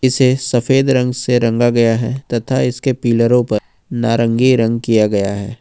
इसे सफेद रंग से रंग गया है तथा इसके पिलरों पर नारंगी रंग किया गया है।